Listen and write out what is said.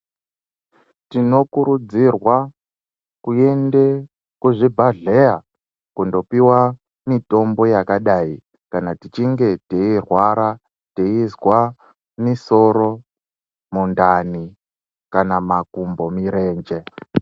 Tinokurudzirwa kuende kuzvibhahleya kundopiwa mutombo yakadai kana tichinge teirwara teizwa misoro, mundani kana makumbo mirenje.